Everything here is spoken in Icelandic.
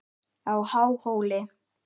á Háhóli.